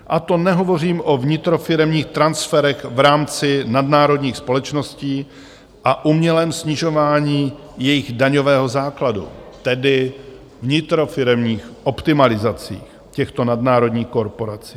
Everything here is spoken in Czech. A to nehovořím o vnitrofiremních transferech v rámci nadnárodních společností a umělém snižování jejich daňového základu, tedy vnitrofiremních optimalizacích těchto nadnárodních korporací.